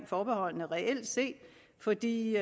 forbeholdene reelt set fordi